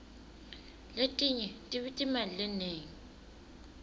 letinye tibita imali lenengi